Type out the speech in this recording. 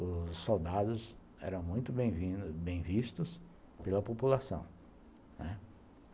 os soldados eram muito bem-vindos, bem-vistos pela população, né.